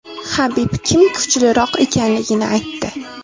Habib kim kuchliroq ekanligini aytdi.